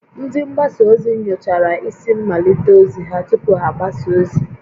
Ndị mgbasa ozi nyochara isi mmalite ozi ha tupu ha agbasa ozi